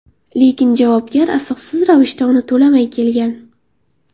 Lekin javobgar asossiz ravishda uni to‘lamay kelgan.